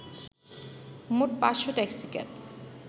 মোট ৫’শ ট্যাক্সিক্যাব